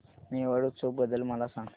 मेवाड उत्सव बद्दल मला सांग